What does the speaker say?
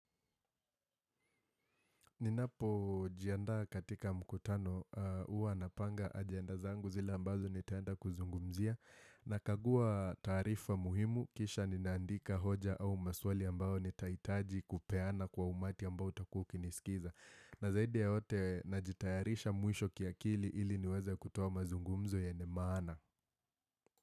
Ninapojianda katika mkutano huwa napanga ajenda zangu zile ambazo nitaenda kuzungumzia nakagua taarifa muhimu kisha ninaandika hoja au maswali ambao nitahitaji kupeana kwa umati ambao utakuwa ukiniskiza na zaidi ya yote najitayarisha mwisho kiakili ili niweze kutoa mazungumzo yenye maana.